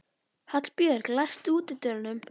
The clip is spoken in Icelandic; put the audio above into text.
Hallbjörg, læstu útidyrunum.